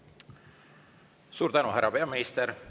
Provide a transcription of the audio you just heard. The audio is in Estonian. Suur tänu, härra peaminister!